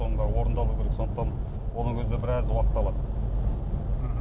соның бәрі орындалу керек сондықтан оның өзі де біраз уақыт алады мхм